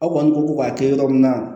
Aw kɔni ko ko k'a kɛ yɔrɔ min na